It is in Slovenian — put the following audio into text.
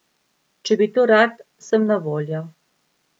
Če bi to rad, sem na voljo.